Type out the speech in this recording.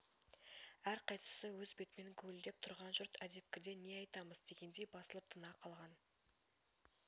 әрқайсысы өз бетімен гуілдеп тұрған жұрт әдепкіде не айтамыз дегендей басылып тына қалған